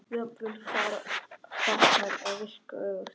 Jafnvel farnar að virka öfugt.